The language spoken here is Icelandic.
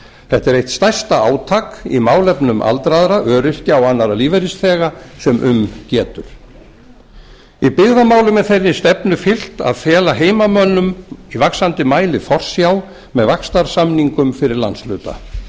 þetta er eitt stærsta átak í málefnum aldraðra öryrkja og annarra lífeyrisþega sem um getur í byggðamálum er þeirri stefnu fylgt að fela heimamönnum í vaxandi mæli forsjá með vaxtarsamningum fyrir landshluta